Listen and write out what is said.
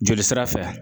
Joli sira fɛ